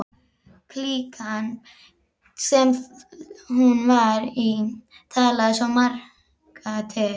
Klíkan, sem hún var í, talaði svo marga til.